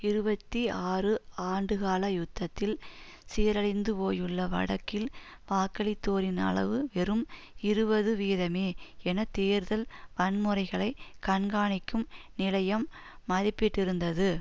இருபத்தி ஆறு ஆண்டுகால யுத்தத்தில் சீரழிந்து போயுள்ள வடக்கில் வாக்களித்தோரின் அளவு வெறும் இருபது வீதமே என தேர்தல் வன்முறைகளை கண்காணிக்கும் நிலையம் மதிப்பிட்டிருந்தது